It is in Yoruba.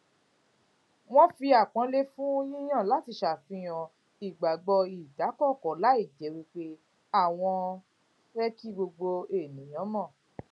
wọn fi àpọnlé fún yíyàn láti ṣàfihàn ìgbàgbọ ìdákóńkó láìjé pé àwọn fé kí gbogbo ènìyàn mò